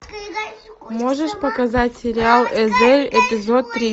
можешь показать сериал эзель эпизод три